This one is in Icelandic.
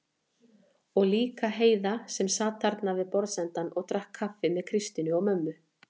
Og líka Heiða sem sat þarna við borðsendann og drakk kaffi með Kristínu og mömmu.